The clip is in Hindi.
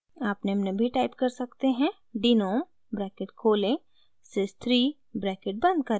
आप निम्न भी टाइप कर सकते हैं denom ब्रैकेट खोलें sys 3 ब्रैकेट बंद करें